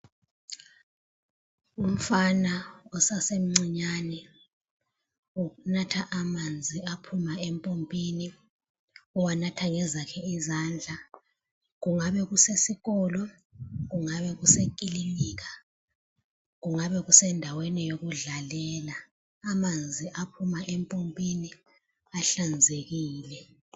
Umfana osasemcinyane unatha amanzi aphuma empompini, uwanatha ngezakhe izandla .Kungabe kusesikolo, kungabe kusekilinika kungabe kusendaweni yokudlalela amanzi aphuma empompini ahlanzekile.